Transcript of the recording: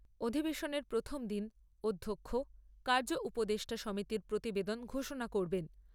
আধিবেশনের প্রথম দিন অধ্যক্ষ কার্য উপদেষ্টা সমিতির প্রতিবেদন ঘোষনা করবেন।